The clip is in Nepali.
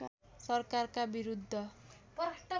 सरकारका विरुद्ध